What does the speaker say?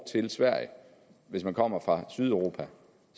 til sverige hvis man kommer fra sydeuropa